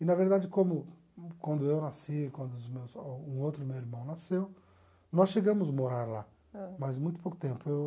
E, na verdade, como quando eu nasci, quando os meus ah um outro meu irmão nasceu, nós chegamos a morar lá, mas muito pouco tempo eu